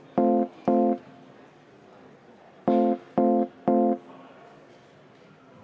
Hääletustulemused Palun rahu!